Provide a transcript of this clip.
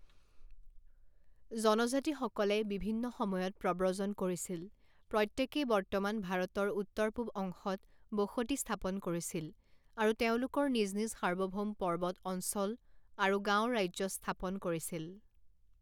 জনজাতিসকলে বিভিন্ন সময়ত প্ৰব্ৰজন কৰিছিল প্ৰত্যেকেই বৰ্তমান ভাৰতৰ উত্তৰ পূব অংশত বসতি স্থাপন কৰিছিল আৰু তেওঁলোকৰ নিজ নিজ সাৰ্বভৌম পৰ্বত অঞ্চল আৰু গাওঁ ৰাজ্য স্থাপন কৰিছিল।